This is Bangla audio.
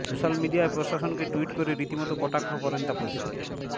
সোশ্যাল মিডিয়ায় প্রশাসনকে টুইট করে রীতিমতো কটাক্ষ করেন তাপসী